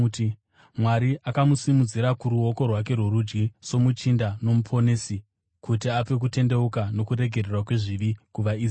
Mwari akamusimudzira kuruoko rwake rworudyi soMuchinda noMuponesi kuti ape kutendeuka nokuregererwa kwezvivi kuvaIsraeri.